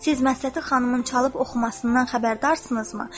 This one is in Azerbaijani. Siz məsləti xanımın çalıb oxumasından xəbərdarsınızmı?